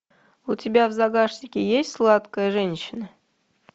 у тебя в загашнике есть сладкая женщина